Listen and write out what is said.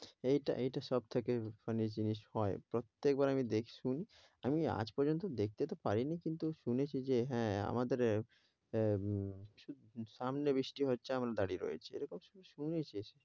এইটা এইটা সবথেকে funny জিনিস হয়। প্রত্যেক বার আমি দেখি শুনি আমি আজ পর্যন্ত দেখতে তো পারিনি কিন্তু শুনেছি যে হ্যাঁ আমাদের আহ সামনে বৃষ্টি হচ্ছে আমরা দাঁড়িয়ে রয়েছি। এরকম আসলে শুনেছি।